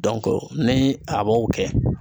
ni a b'o kɛ